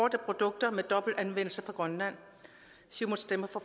af produkter med dobbelt anvendelse fra grønland siumut stemmer